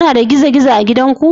Kuna da gizo-gizo a gidanku?